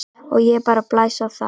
Og ég bara blæs á það.